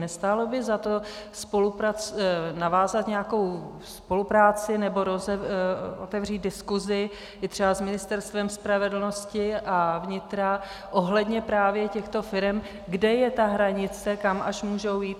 Nestálo by za to navázat nějakou spolupráci nebo otevřít diskusi i třeba s Ministerstvem spravedlnosti a vnitra ohledně právě těchto firem, kde je ta hranice, kam až můžou jít?